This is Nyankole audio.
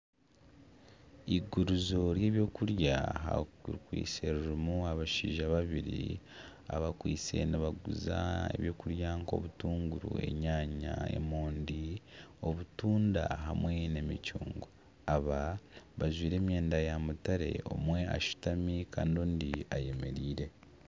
Igurizo ry'ebwokurya rikwitse ririmu abashaija babiri abakwitse nibaguza ebyokurya nk'obutunguru, enyaanya, emondi, obutunda hamwe n'emicungwa. Aba bajwaire emyenda ya mutare. Omwe ashutami kandi ondi ayemereire.